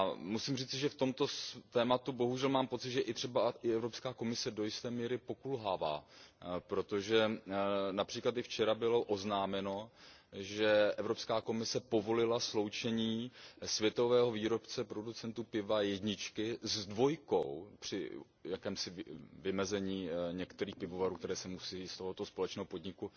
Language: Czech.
Musím říci, že v tomto tématu bohužel mám pocit, že i třeba Evropská komise do jisté míry pokulhává, protože například včera bylo oznámeno, že Evropská komise povolila sloučení dvou světových producentů piva, jedničky s dvojkou, při jakémsi vymezení některých pivovarů, které se musejí z tohoto společného podniku